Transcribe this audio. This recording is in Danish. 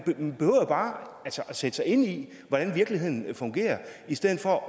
bare at sætte sig ind i hvordan virkeligheden fungerer i stedet for